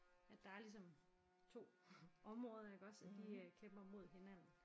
St der er ligesom 2 områder iggås og de øh kæmper mod hinanden